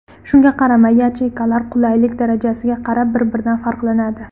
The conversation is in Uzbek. Shunga qaramay, yacheykalar qulaylik darajasiga qarab, bir-biridan farqlanadi.